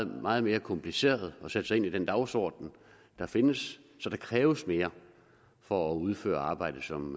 meget mere kompliceret at sætte sig ind i den dagsorden der findes så der kræves mere for at udføre arbejdet som